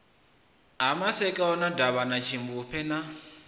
ha masakona davhana tshimbupfe na